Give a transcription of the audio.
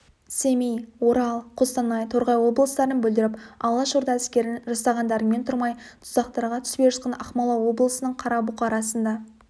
семей орал қостанай торғай облыстарын бүлдіріп алашорда әскерін жасағандарыңмен тұрмай тұзақтарға түспей жатқан ақмола облысының қара бұқарасын да